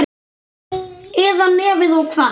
Eða nefið of hvasst.